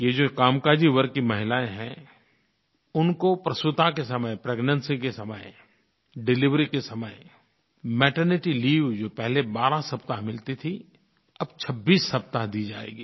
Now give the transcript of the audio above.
ये जो कामकाजी वर्ग की महिलायें हैं उनको प्रसूति के समय प्रेग्नेंसी के समय डिलिवरी के समय मैटर्निटी लीव जो पहले 12 सप्ताह मिलती थी अब 26 सप्ताह दी जाएगी